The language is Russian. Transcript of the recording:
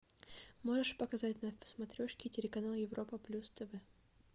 можешь показать на смотрешке телеканал европа плюс тв